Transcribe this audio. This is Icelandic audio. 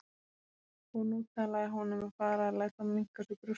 Og nú talaði hún um að fara að láta minnka á sér brjóstin!